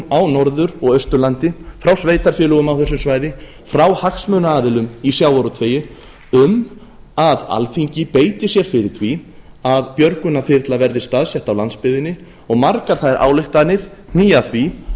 á norður og austurlandi frá sveitarfélögum á þessu svæði frá hagsmunaaðilum í sjávarútvegi um að alþingi beiti sér fyrir því að björgunarþyrla verði staðsett á landsbyggðinni og margar þær ályktanir hníga að því